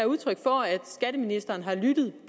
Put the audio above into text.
udtryk for at skatteministeren har lyttet